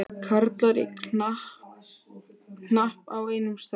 Karlar í hnapp á einum stað.